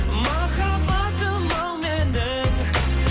махаббатым ау менің